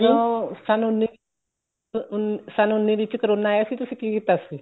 ਜਦੋਂ ਸੰਨ ਉੰਨੀ ਸੰਨ ਉੰਨੀ ਵਿੱਚ ਕਰੋਨਾ ਆਇਆ ਸੀ ਤੁਸੀਂ ਕੀ ਕੀਤਾ ਸੀ